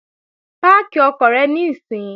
Páàkì ọkọ̀ rẹ níìsín!